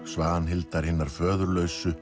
Svanhildar hinnar